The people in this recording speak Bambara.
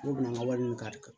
Ne bɛna wali minnu k'a la